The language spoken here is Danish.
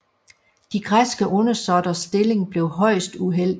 De græske undersåtters stilling blev højst uheldig